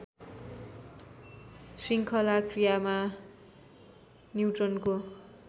शृङ्खला क्रियामा न्युट्रनको